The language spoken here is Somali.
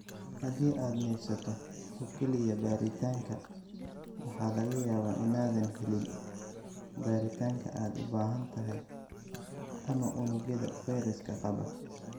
Haddii aad neefsato oo kaliya baaritaanka, waxaa laga yaabaa inaadan helin baaritaanka aad u baahan tahay ama unugyada fayraska qaba.